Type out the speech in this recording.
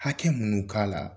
Hakɛ minnu k'a la